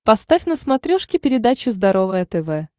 поставь на смотрешке передачу здоровое тв